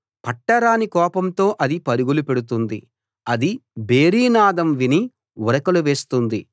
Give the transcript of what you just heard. పట్టరాని కోపంతో అది పరుగులు పెడుతుంది అది భేరీనాదం విని ఉరకలు వేస్తుంది